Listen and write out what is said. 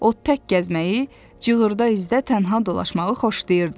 O tək gəzməyi, cığırda izdə tənha dolaşmağı xoşlayırdı.